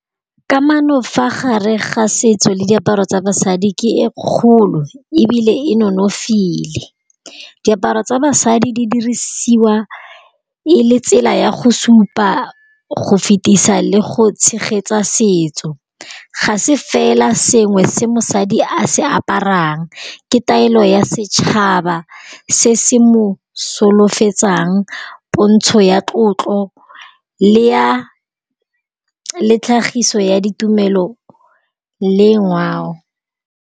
Kamano fa gare ga setso le diaparo tsa basadi ke e kgolo e bile e nonofile, diaparo tsa basadi di dirisiwa e le tsela ya go supa go fetisa le go tshegetsa setso, ga se fela sengwe se mosadi a se aparang, ke taelo ya setšhaba se se mo solofetsang pontsho ya tlotlo le ya le tlhagiso ya ditumelo le ngwao.